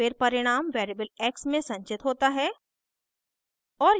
फिर परिणाम variable x में संचित होता है